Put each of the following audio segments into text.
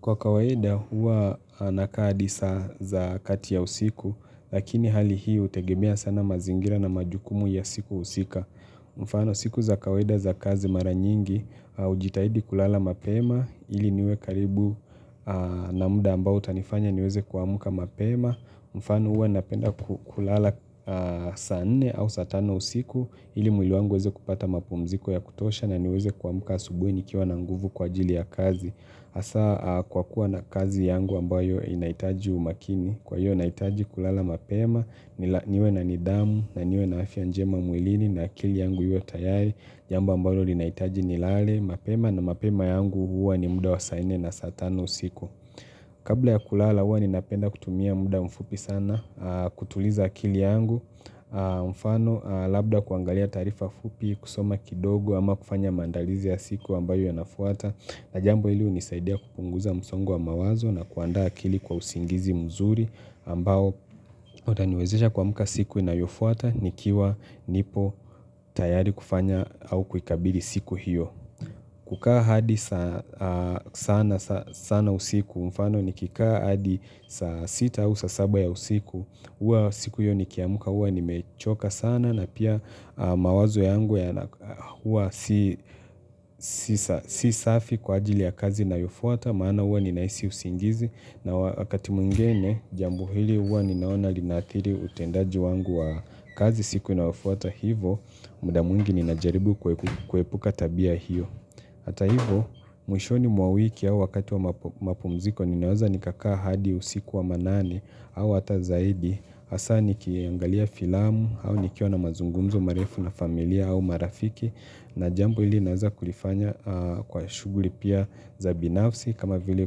Kwa kawaida huwa anakaa hadi saa za kati ya usiku lakini hali hii utegemea sana mazingira na majukumu ya siku husika. Mfano siku za kawaida za kazi mara nyingi hahujitahidi kulala mapema ili niwe karibu na muda ambao utanifanya niweze kuamuka mapema. Mfano huwa napenda kulala saa nne au saa tano usiku ili mwilibl wangu uweze kupata mapumziko ya kutosha na niweze kuamuka asubuhi nikiwa na nguvu kwa ajili ya kazi. Hasa kwa kuwa na kazi yangu ambayo inaitaji umakini Kwa hiyo inahitaji kulala mapema, niwe na nidamu, na niwe na afya njema mwilini na akili yangu iwe tayari, jambo ambalo linahitaji nilale, mapema na mapema yangu huwa ni muda wa saa nne na saa tano usiku Kabla ya kulala huwa ni napenda kutumia muda mfupi sana kutuliza akili yangu, mfano labda kuangalia taarifa fupi kusoma kidogo ama kufanya mandalizi ya siku ambayo ya inafuata na jambo hili unisaidia kupunguza msongo wa mawazo na kuandaa akili kwa usingizi mzuri ambao utaniwezisha kuamka siku inayofuata nikiwa nipo tayari kufanya au kukabili siku hiyo. Kukaa hadi sana usiku, mfano ni nikikaa hadi saa 6 au saa 7 ya usiku, huwa siku hiyo nikiamka huwa ni mechoka sana na pia mawazo yangu ya huwa si safi kwa ajili ya kazi inayofuata maana huwa ninahisi usingizi na wakati mwingine jambo hili huwa ni naona linathiri utendaji wangu wa kazi siku ninayofuata hivo, muda mwingi ninajaribu kuepuka tabia hiyo. Hata hivo mwishoni mwa wiki au wakati wa mapumziko ninaweza nikakaa hadi usiku wa manane au hata zaidi hasa nikiangalia filamu au nikiwa na mazungumzo marefu na familia au marafiki na jambo hili naweza kulifanya kwa shuguli pia za binafsi kama vile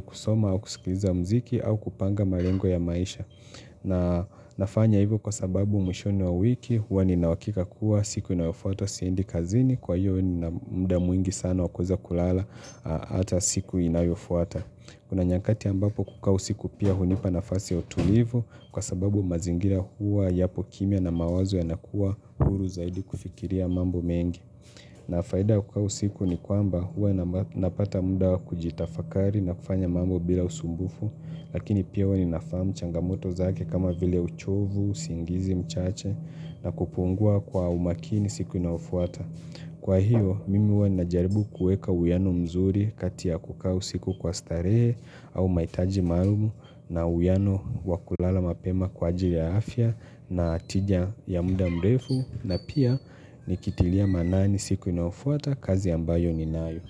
kusoma au kusikiliza mziki au kupanga malengo ya maisha. Na nafanya hivyo kwa sababu mwishoni mwa wiki huwa ni nina uhakika kuwa siku inayofuata siendi kazini kwa hivyo nina muda mwingi sana wakuweza kulala hata siku inayofuata. Kuna nyakati ambapo kukaa usiku pia hunipa nafasi ya utulivu kwa sababu mazingira huwa yapo kimia na mawazo yanakuwa huru zaidi kufikiria mambo mengi. Nafaida kukaaa usiku ni kwamba huwa napata muda kujitafakari na kufanya mambo bila usumbufu lakini pia huwa ninafahamu changamoto zake kama vile uchovu, usingizi mchache na kupungua kwa umakini siku inafuata. Kwa hiyo, mimi ninaajaribu kuweka uwiano mzuri kati kukaa usiku kwa starehe au mahitaji maalumu na uwiano wakulala mapema kwa ajili ya afya na natija ya muda mrefu na pia nikitilia maanani siku inayofuata kazi ambayo ninayo.